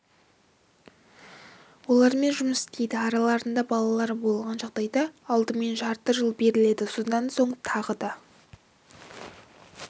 олармен жұмыс істейді араларында балалары болған жағдайда алдымен жарты жыл беріледі содан соң тағы да